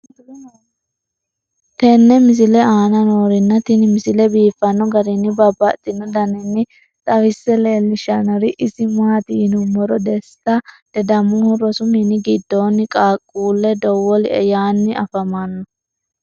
tenne misile aana noorina tini misile biiffanno garinni babaxxinno daniinni xawisse leelishanori isi maati yinummoro desita ledamohu rosu minni gidoonni qaaqqulle dawolie yaanni affammanno